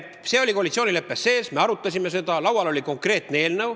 See oli koalitsioonileppes sees, me arutasime seda, sest laual oli konkreetne eelnõu.